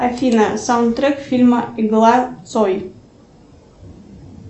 афина саундтрек фильма игла цой